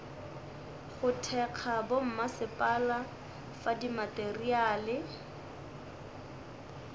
go thekga bommasepala fa dimateriale